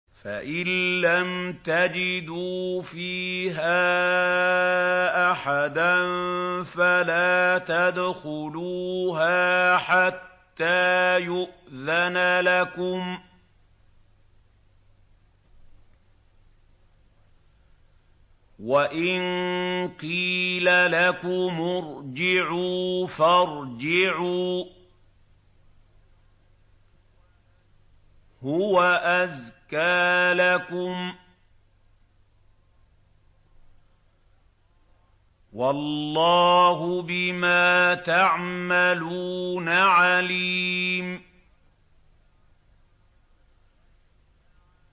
فَإِن لَّمْ تَجِدُوا فِيهَا أَحَدًا فَلَا تَدْخُلُوهَا حَتَّىٰ يُؤْذَنَ لَكُمْ ۖ وَإِن قِيلَ لَكُمُ ارْجِعُوا فَارْجِعُوا ۖ هُوَ أَزْكَىٰ لَكُمْ ۚ وَاللَّهُ بِمَا تَعْمَلُونَ عَلِيمٌ